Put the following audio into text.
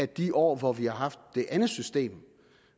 de år hvor vi har haft det andet system